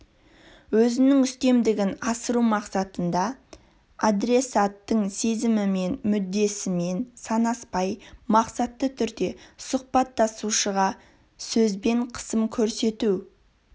өзінің үстемдігін асыру мақсатында адресаттың сезімімен мүддесімен санаспай мақсатты түрде сұхбаттасушыға сөзбен қысым көрсету